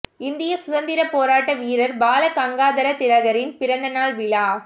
இந்திய சுதந்திர போராட்ட வீரர் பால கங்காதர் திலகரின் பிறந்த நாள் விழா